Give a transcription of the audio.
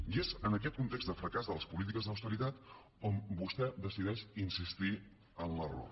i és en aquest context de fracàs de les polítiques d’austeritat on vostè decideix insistir en l’error